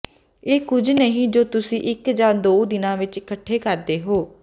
ਇਹ ਕੁਝ ਨਹੀਂ ਜੋ ਤੁਸੀਂ ਇੱਕ ਜਾਂ ਦੋ ਦਿਨਾਂ ਵਿੱਚ ਇਕੱਠੇ ਕਰਦੇ ਹੋ